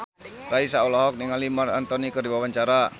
Raisa olohok ningali Marc Anthony keur diwawancara